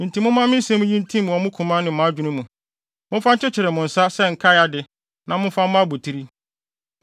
Enti momma me nsɛm yi ntim wɔ mo koma ne mo adwene mu. Momfa nkyekyere mo nsa sɛ nkae ade na momfa mmɔ abotiri.